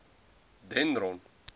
dendron